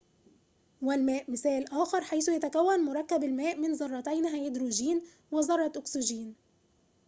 والماء مثال آخر حيث يتكون مركب الماء من ذرتين هيدروجين وذرة أكسجين